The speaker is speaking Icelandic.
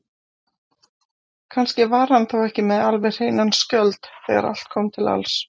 Kannski var hann þá ekki með alveg hreinan skjöld þegar allt kom til alls.